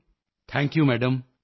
see you soon thank you very much